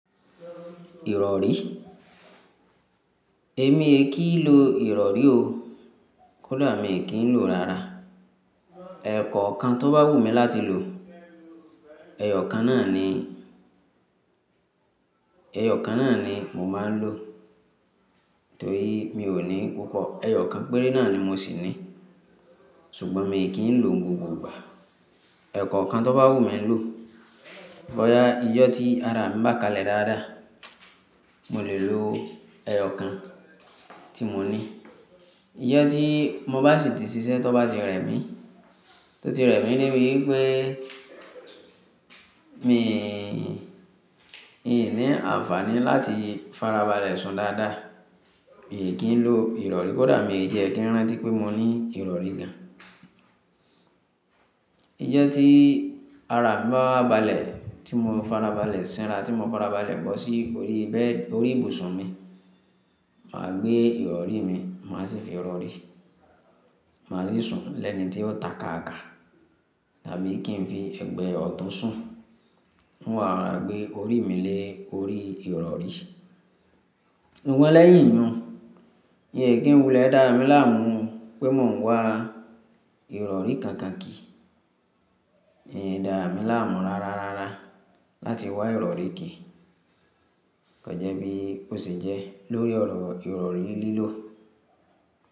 Ìrọ̀rí? Èmi è kí ń lo ìrọ̀rí o. Kódà mi i kí ń lo rara. Ẹ̀kọ kan tó bá wù mí láti lò, ẹyọ kan náà ni, ẹyọ kan náà ni mo máa ń lò. Torí mi ò ní púpọ̀, ẹyọ kan péré náà ni mo sì ní. Ṣùgbọ́n mi è kí ń lo ni gbogbo igba ẹ̀kọ kan tó bá wù mí lò. Bóyá ijo tí ara mi bá kalẹ̀ dáadáa, mo lè lo ẹyọ kan tí mo ní. Ijo tí mo bá sì ti ṣiṣẹ́ tó bá ti rẹ mí, tó ti rẹ mí de bi wi pé, mi ì ní àǹfààní láti farabalẹ̀ sùn dáadáa, mi è kí ń lo ìrọ̀rí. Kódà mi ì jẹ́ kí ń rántí pé mo ní ìrọ̀rí gan. Ijo tí ara bá balẹ̀, tí mo farabalẹ̀ sinra, tí mo farabalẹ̀ bọ́sí orí bẹ́ẹ̀ orí ibùsùn mi, màá gbé ìrọ̀rí mi, màá sì fi rọ̀rí. Màá sì sùn lẹ́ni tí ó ta káàkà tàbí kí n fi ẹgbẹ́ ọ̀tun sùn. N ó wa rora gbé orí mi lé orí ìrọ̀rí. Òun lẹ́yìn inú, ìyè kí ń wulẹ̀ dá mi láàmú pé mò ń wá ìrọ̀rí kakaki. Mi i dárami láàmú rara rara láti wá ìrọ̀rí kíì. Kànjẹ́ bí ó ṣe jẹ́ lórí ìrọ̀rí lílò.